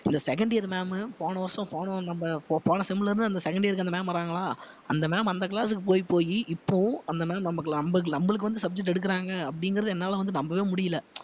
இந்த second year ma'am உ போன வருஷம் போனோம் நம்ப போன sem ல இருந்து தான் அந்த second year க்கு அந்த ma'am வர்றாங்களா அந்த ma'am அந்த class க்கு போய் போயி இப்போவும் அந்த ma'am நம்ம~ நம்ம~ நம்மளுக்கு வந்து subject எடுக்குறாங்க அப்படிங்கிறதை என்னால வந்து நம்பவே முடியல